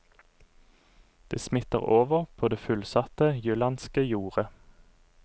Det smitter over på det fullsatte jyllandske jordet.